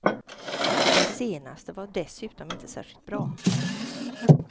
Den senaste var dessutom inte särskilt bra.